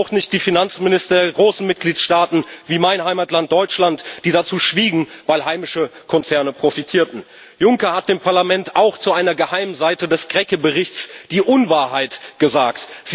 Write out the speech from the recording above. Und auch nicht die Finanzminister der großen Mitgliedstaaten wie meines Heimatlands Deutschland die dazu schwiegen, weil heimische Konzerne profitierten. Juncker hat dem Parlament auch zu einer geheimen Seite des Krecké Berichts die Unwahrheit gesagt.